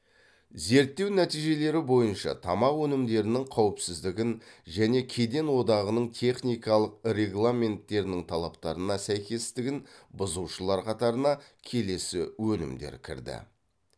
зерттеу нәтижелері бойынша тамақ өнімдерінің қауіпсіздігін және кеден одағының техникалық регламенттерінің талаптарына сәйкестігін бұзушылар қатарына келесі өнімдер кірді